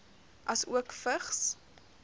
asook vigs